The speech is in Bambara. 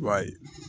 I b'a ye